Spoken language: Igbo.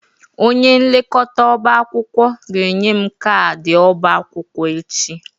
Onye nlekọta ọba akwụkwọ ga-enye m kaadị ọba akwụkwọ echi.